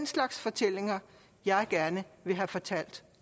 slags fortællinger jeg gerne vil have fortalt